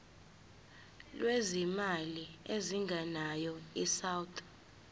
lwezimali ezingenayo isouth